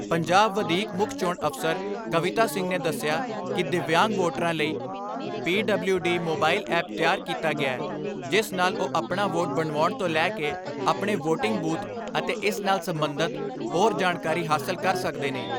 ਪੰਜਾਬ ਵਧੀਕ ਮੁੱਖ ਚੋਣ ਅਫ਼ਸਰ ਕਵਿਤਾ ਸਿੰਘ ਨੇ ਦਸਿਆ ਕਿ ਦਿਵਿਆਂਗ ਵੋਟਰਾਂ ਲਈ ਪੀਡਬਲਿਊ ਡੀ ਮੋਬਾਈਲ ਐਪ ਤਿਆਰ ਕੀਤਾ ਗਿਐ ਜਿਸ ਨਾਲ ਉਹ ਆਪਣਾ ਵੋਟ ਬਣਵਾਉਣ ਤੋਂ ਲੈ ਕੇ ਆਪਣੇ ਵੋਟਿੰਗ ਬੂਥ ਅਤੇ ਇਸ ਨਾਲ ਸਬੰਧਤ ਹੋਰ ਜਾਣਕਾਰੀ ਹਾਸਲ ਕਰ ਸਕਦੇ ਨੇ।